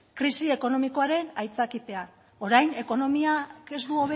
krisi ekonomikoaren aitzakipean orain ekonomiak ez du